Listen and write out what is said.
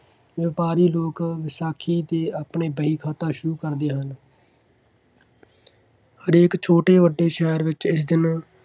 ਵਪਾਰੀ ਲੋਕ ਵਿਸਾਖੀ 'ਤੇ ਆਪਣੇ ਵਹੀ-ਖਾਤਾ ਸ਼ੁਰੂ ਕਰਦੇ ਹਨ। ਹਰੇਕ ਛੋਟੇ ਵੱਡੇ ਸ਼ਹਿਰ ਵਿੱਚ ਇਸ ਦਿਨ